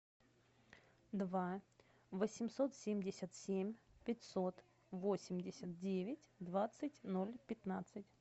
два восемьсот семьдесят семь пятьсот восемьдесят девять двадцать ноль пятнадцать